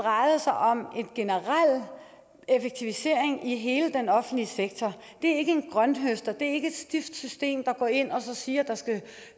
drejede sig om en generel effektivisering i hele den offentlige sektor det er ikke en grønthøster det er ikke et stift system hvor man går ind og siger at der skal